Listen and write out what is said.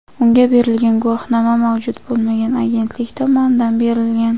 unga berilgan guvohnoma mavjud bo‘lmagan agentlik tomonidan berilgan.